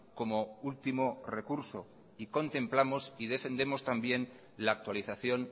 como último recurso y contemplamos y defendemos también la actualización